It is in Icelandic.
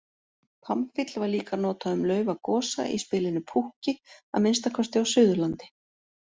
Pamfíll var líka notað um laufagosa í spilinu púkki, að minnsta kosti á Suðurlandi.